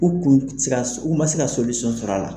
U kun u ma se ka sɔrɔ a la.